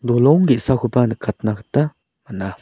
dolong ge·sakoba nikatna gita man·a.